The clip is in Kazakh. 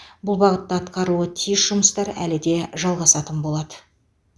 бұл бағытта атқарылуы тиіс жұмыстар әлі де жалғасатын болады